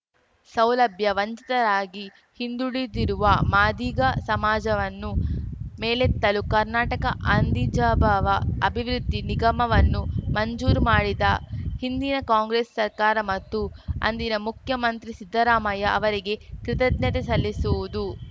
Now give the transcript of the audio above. ಸೌಲಭ್ಯ ವಂಚಿತರಾಗಿ ಹಿಂದುಳಿದಿರುವ ಮಾದಿಗ ಸಮಾಜವನ್ನು ಮೇಲೆತ್ತಲು ಕರ್ನಾಟಕ ಆಂದಿಜಾಬವ ಅಭಿವೃದ್ಧಿ ನಿಗಮವನ್ನು ಮಂಜೂರು ಮಾಡಿದ ಹಿಂದಿನ ಕಾಂಗ್ರೆಸ್‌ ಸರ್ಕಾರ ಮತ್ತು ಅಂದಿನ ಮುಖ್ಯಮಂತ್ರಿ ಸಿದ್ದರಾಮಯ್ಯ ಅವರಿಗೆ ಕೃತಜ್ಞತೆ ಸಲ್ಲಿಸುವುದು